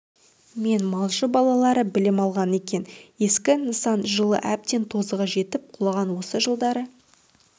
мен малшы балалары білім алған екен ескі нысан жылы әбден тозығы жетіп құлаған осы жылдары